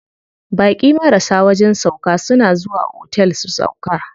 Baƙi marasa wajen sauƙa suna zuwa otel su sauƙa.